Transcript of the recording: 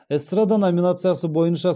эстрада номинациясы бойынша